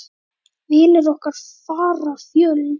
Vinir okkar fara fjöld.